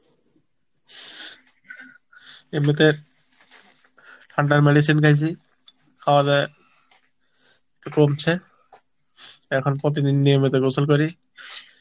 এমনিতে ঠান্ডার medicine খাইসি খাওয়াতে একটু কমসে এখন প্রতিদিন নিয়মিতো গোসল করি